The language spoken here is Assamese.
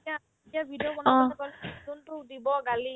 যেতিয়া যেতিয়া video বনাব তাতে গ'ল যোনতো দিব গালি